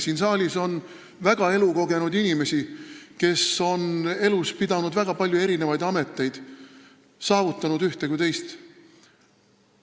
Siin saalis on väga elukogenud inimesi, kes on elus pidanud väga palju erinevaid ameteid ning nii ühte kui ka teist saavutanud.